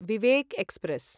Vivek express